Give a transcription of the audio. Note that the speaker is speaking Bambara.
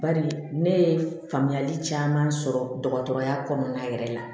Bari ne ye faamuyali caman sɔrɔ dɔgɔtɔrɔya kɔnɔna yɛrɛ la